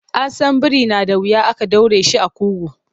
An san biri na da wuya ake ɗaure shi a ƙugu.